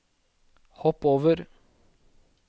hopp over